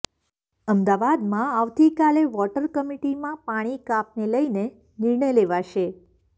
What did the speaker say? અમદાવાદમાં આવતીકાલે વોટર કમિટીમાં પાણી કાપને લઈને નિર્ણય લેવાશે